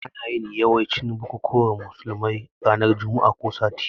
Ana yin yawancin bukukuwan musulmai ranan Juma'ah ko sati